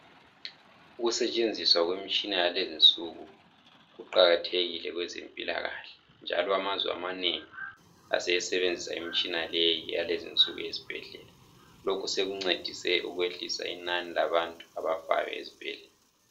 Ukusetshenziswa kwemitshina yalezinsuku kuqakathekile kwezempilakahle njalo amazwe amanengi aseyisebenzisa imitshina yenaleyi yalezinsuku ezibhedlela . Lokhu sekuncedise ukwehlisa inani labantu abafayo ezibhedlela.